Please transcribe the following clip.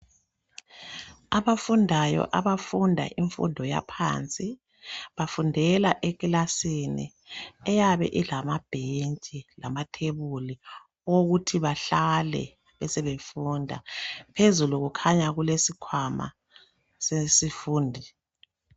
Abafundayo abafunda imfundo yaphansi bafundela ekilasini eyabe ilamabhentshi lamathebuli owokuthi bahlale besebefunda. Phezulu kukhanya kulesikwama sesifundi.